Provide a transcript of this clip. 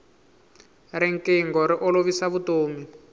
rinqingho ri olovisa vutomi